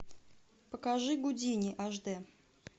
покажи гудини аш д